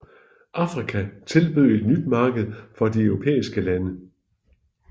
Afrika tilbød et nyt marked for de europæiske lande